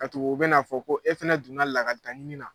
Ka tugu u bɛn'a fɔ ko e fɛnɛ donna lakalita ɲini na